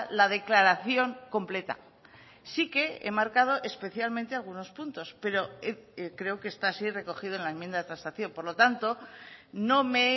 la declaración completa sí que he marcado especialmente algunos puntos pero creo que está así recogido en la enmienda de transacción por lo tanto no me